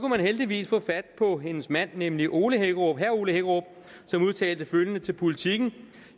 man heldigvis få fat på hendes mand nemlig herre ole hækkerup som udtalte følgende til politiken